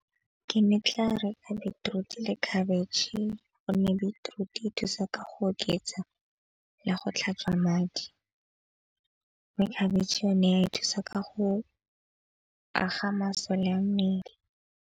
Ke ne ke tla reka beetroot le khabetšhe gonne beetroot e thusa ka go oketsa le go tlhatswa madi. Mme khabetšhe yone ya thusa ka go aga masole a mmele.